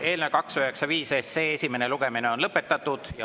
Eelnõu 295 esimene lugemine on lõpetatud.